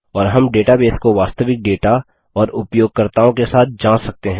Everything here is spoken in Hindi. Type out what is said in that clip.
और हम डेटाबेस को वास्तविक डेटा औए उपयोगकर्ताओं के साथ जाँच सकते हैं